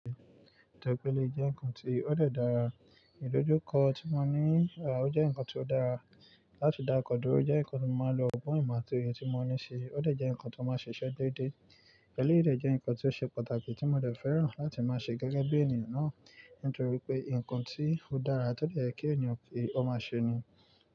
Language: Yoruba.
Tẹ́ pẹ̀ ẹ́lì jẹ́ ǹkan tí ó dẹ̀ dàra, ìdojúkọ tí mo ní rà o jẹ́ ǹkan tí ó dára láti dá kọdúró jẹ́ ǹkan tí mo máa lò gbọ́n ìmọ̀ tó yẹ tí mo ní ṣe, o dẹ̀ jẹ́ ǹkan tí ó máa ṣe iṣẹ́ dédé. Ẹ́lé dẹ̀ jẹ́ ǹkan tí ó ṣe pàtàkì tí mo dẹ̀ fẹ́ràn láti máa ṣe gẹ́gẹ́ bí ènìyàn náà, nítorí pé ǹkan tí ó dára tọ dẹ̀ yíì kí ènìyàn ki ó máa ṣe ni.